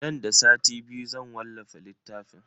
Nan da sati biyu zan wallafa littafin.